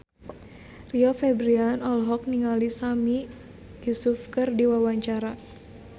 Rio Febrian olohok ningali Sami Yusuf keur diwawancara